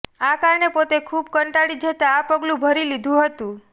આ કારણે પોતે ખુબ કંટાળી જતાં આ પગલું ભરી લીધું હતું